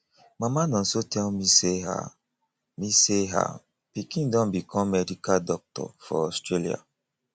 mama nonso tell me say her me say her pikin don become medical doctor for australia